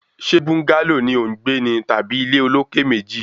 Ṣe búńgálò ni ò ń gbé ní tàbí ilé olókè méjì?